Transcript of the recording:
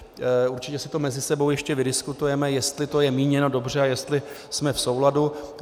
Určitě si to mezi sebou ještě vydiskutujeme, jestli je to míněno dobře a jestli jsme v souladu.